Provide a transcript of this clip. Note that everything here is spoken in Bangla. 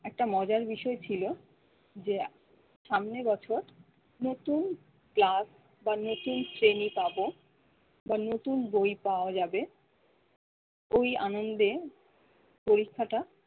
একটা মজার বিষয় ছিল যে সামনের বছর নতুন class বা নতুন শ্রেণি পাব বা নতুন বই পাওয়া যাবে। ওই আনন্দে পরীক্ষাটা